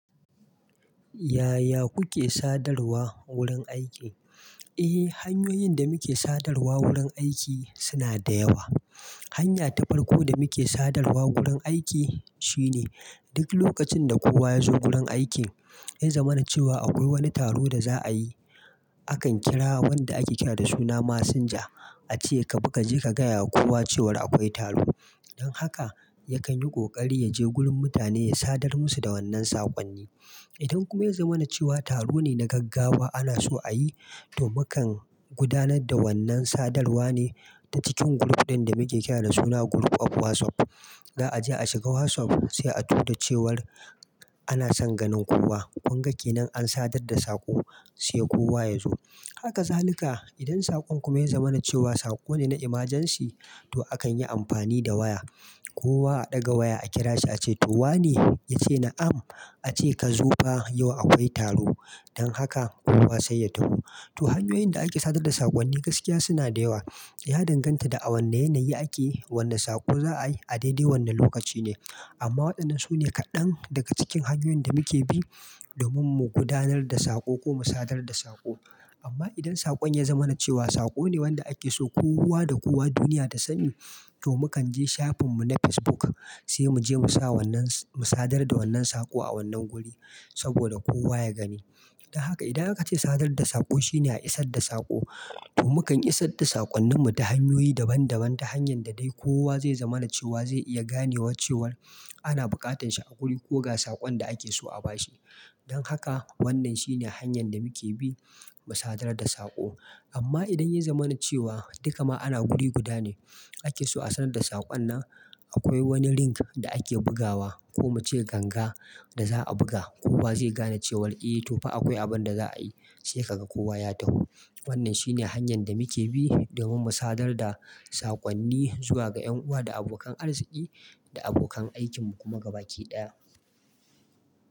Yaya kuke sadarwa wurin aiki? Eh hanyoyin da muke sadarwa wurin aiki suna da yawa. Hanya ta farko da muke sadarwa wurin aiki shine duk lokacin da kowa ya zo gurin aiki ya zama na cewa akwai wani taro da za a yi, akan kira wanda ake kira da suna "messenger" a ce ka baka je ka gaya wa kowa cewar akwai taro. Don haka yakan yi ƙoƙari ya je gurin mutane ya sadar musu da wannan saƙonni. Idan kuma ya zama na cewa taro ne na gaggawa ana so a yi, to mukan gudanar da wannan sadarwa ne ta cikin group ɗin da muke kira da suna group of WhatsApp. Za'a je a shiga WhatsApp sai a tura cewar ana son ganin kowa. Kun ga ke nan an sadar da saƙo sai kowa ya zo. Haka zalika idan saƙon kuma ya zama na cewa saƙo ne na emergency, to akan yi amfani da waya. Kowa a ɗaga waya a kira shi a ce to wane? Yace na'am. A ce ka zo fa yau akwai taro. Don haka kowa sai ya taho. To hanyoyin da ake sadar da saƙonni gaskiya suna da yawa. Ya danganta da a wanne yanayi ake, wanne saƙo za a yi a daidai wannan lokaci ne. Amma waɗannan su ne kaɗan daga cikin hanyoyin da muke bi domin mu gudanar da saƙo ko mu sadar da saƙo. Amma idan saƙon ya zama na cewa saƙo ne wanda ake so kowa da kowa duniya ta sani, to mukan je shafin mu na Facebook sai mu je mu sa wannan s-- mu sadar da wannan saƙo a wannan guri saboda kowa ya gani. Don haka idan aka ce sadar da saƙo shine a isar da saƙo, to mukan isar da saƙonnin mu ta hanyoyi daban daban ta hanyar da dai kowa zai zama na cewa zai iya gane wa cewar ana buƙatan shi a guri ko ga saƙon da ake so a bashi. Don haka wannan shine hanyar da muke bi mu sadar da saƙo. Amma idan ya zama na cewa duk ma ana guri guda ne ake so a sanar da saƙon nan, akwai wani link da ake bugawa ko mu ce ganga da za a buga. Kowa zai gane cewa eh to fa akwai abin da za a yi sai ka ga kowa ya taho. Wannan shine hanyar da muke bi domin mu sadar da saƙonni zuwa ga 'yan uwa da abokan arziki da abokan aikin mu kuma gaba ki ɗaya.